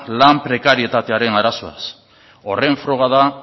lan prekarietatean arazoaz horren froga da